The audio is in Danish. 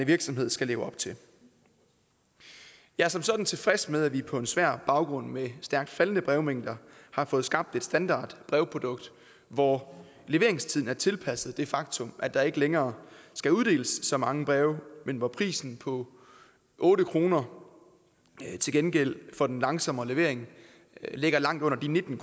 virksomhed skal leve op til jeg er som sådan tilfreds med at vi på en svær baggrund med stærkt faldende brevmængder har fået skabt et standardbrevprodukt hvor leveringstiden er tilpasset det faktum at der ikke længere skal uddeles så mange breve men hvor prisen på otte kroner til gengæld for den langsommere levering ligger langt under de nitten